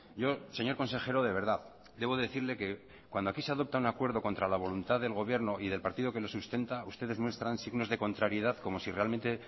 yo señor consejero de verdad debo decirle que cuando aquí se adopta un acuerdo contra la voluntad del gobierno y del partido que lo sustenta ustedes muestran signos de contrariedad como si realmente